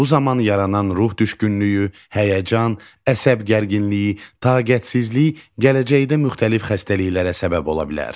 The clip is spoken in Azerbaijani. Bu zaman yaranan ruh düşkünlüyü, həyəcan, əsəb gərginliyi, taqətsizlik gələcəkdə müxtəlif xəstəliklərə səbəb ola bilər.